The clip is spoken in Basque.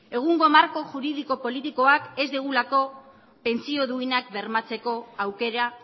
egungo marko juridiko politikoak ez digulako pentsio duinak bermatzeko aukera